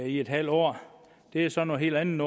i en halv år er så noget helt andet